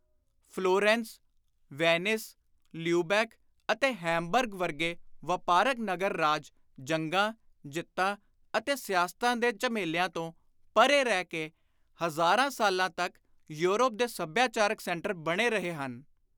Florence, Venice, Lubeck ਅਤੇ Hamburg ਵਰਗੇ ਵਾਪਾਰਕ ਨਗਰ ਰਾਜ ਜੰਗਾਂ, ਜਿੱਤਾਂ ਅਤੇ ਸਿਆਸਤਾਂ ਦੇ ਝਮੇਲਿਆਂ ਤੋਂ ਪਰੇ ਰਹਿ ਕੇ ਹਜ਼ਾਰਾਂ ਸਾਲਾਂ ਤਕ ਯੂਰਪ ਦੇ ਸਭਿਆਚਾਰਕ ਸੈਂਟਰ ਬਣੇ ਰਹੇ ਹਨ।